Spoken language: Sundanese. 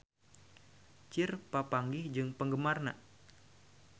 Cher papanggih jeung penggemarna